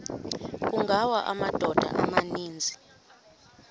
kungawa amadoda amaninzi